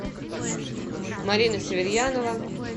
марина северьянова